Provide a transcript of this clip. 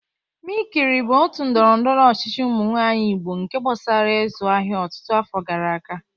Mikiri bụ otu ndọrọndọrọ ọchịchị ụmụ nwanyị igbo nke gbasara ịzụ ahịa ọtụtụ afọ gara aga